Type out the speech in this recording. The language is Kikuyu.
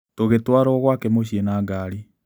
Tũgĩtwarũo gwake mũciĩ na ngari.